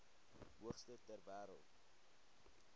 hoogste ter wêreld